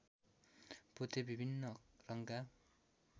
पोते विभिन्न रङका